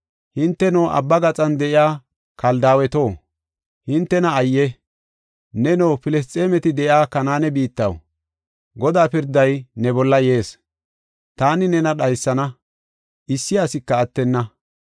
Hinteno, abba gaxan de7iya Keltaaweto, hintena ayye! Neno, Filisxeemeti de7iya Kanaane biittaw, Godaa pirday ne bolla yees. Taani nena dhaysana; issi asika attenna.